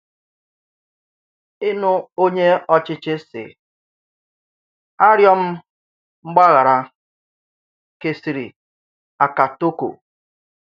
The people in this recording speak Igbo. Ìnù ònye òchìchì sị, “À rìọ̀ m mg̀bàghàrà,” kèsị̀rị àkàtòkò.